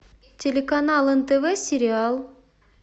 телеканал нтв сериал